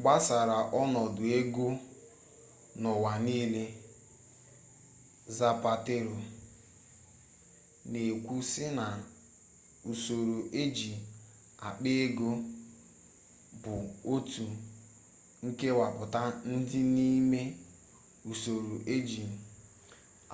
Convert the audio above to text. gbasara onodu ego n'uwa niile zapatero n'ekwu si na usoro eji akpa ego bu otu nkewaputa di n'ime usoro eji